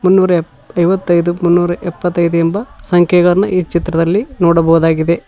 ಮುನ್ನೊರ ಯೇ ಐವತೈದು ಮುನ್ನೊರ ಎಪ್ಪತೈದು ಎಂಬ ಸಂಖ್ಯೆಗಳನ್ನು ಈ ಚಿತ್ರದಲ್ಲಿ ನೋಡಬಹುದಾಗಿದೆ.